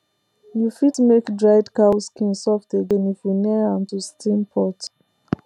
you fit make dried cow skin soft again if you near am to steam pot